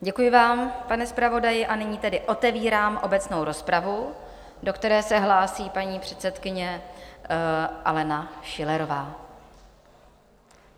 Děkuji vám, pane zpravodaji, a nyní tedy otevírám obecnou rozpravu, do které se hlásí paní předsedkyně Alena Schillerová.